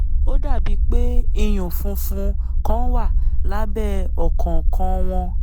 ó dàbíi pé ìyún funfun kan wà lábẹ́ ọ̀kọ̀ọ̀kan wọn